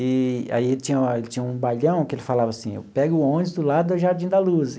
Eee aí ele tinha tinha um baião que ele falava assim, eu pego o ônibus do lado do Jardim da Luz.